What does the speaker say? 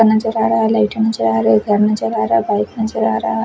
नजर आ रहा लाइटें नजर आ रही नजर आ रहा बाइक नजर आ रहा--